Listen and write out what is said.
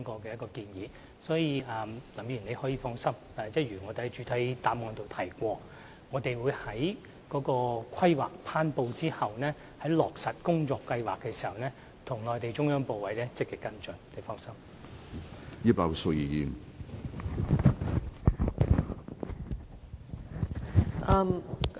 林議員可以放心，正如我在主體答覆中指出，我們會在《規劃》頒布後，在落實工作計劃時，與內地中央部委積極跟進。